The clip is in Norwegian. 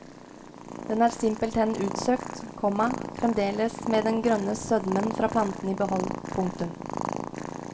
Den er simpelthen utsøkt, komma fremdeles med den grønne sødmen fra planten i behold. punktum